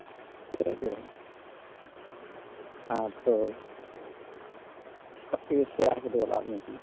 আর তোর সবথেকে সেরা ফুটবলার মেসি